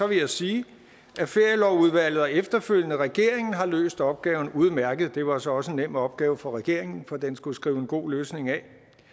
vil jeg sige at ferielovudvalget og efterfølgende regeringen har løst opgaven udmærket det var så også en nem opgave for regeringen for den skulle skrive en god løsning af